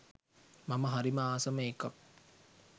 මම හරිම ආසම එකක්.